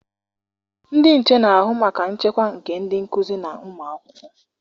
Ndị nche na-ahụ maka nchekwa nke ndị nkụzi na ụmụakwụkwọ.